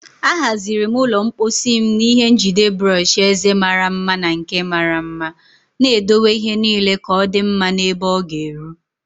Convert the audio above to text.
Ahaziri m ụlọ mposi m n'ihe njide brọsh eze mara mma na nke mara mma, na-edowe ihe niile ka ọ dị mma na ebe ọ ga-eru.